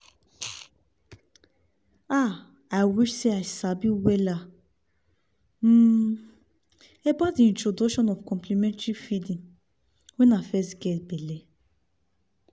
ah i wish seh i sabi wella um about introduction of complementary feeding when i fess geh belle